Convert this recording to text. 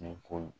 Ni ko